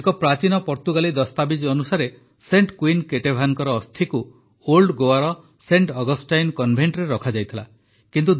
ଏକ ପ୍ରାଚୀନ ପର୍ତ୍ତୁଗାଲି ଦସ୍ତାବିଜ୍ ଅନୁସାରେ ସେଣ୍ଟ୍ କୁଇନ୍ କେଟେଭାନଙ୍କ ଅସ୍ଥିକୁ ଓଲ୍ଡ ଗୋଆର ସେଣ୍ଟ୍ ଅଗଷ୍ଟାଇନ କନଭେଟରେ ରଖାଯାଇଥିଲା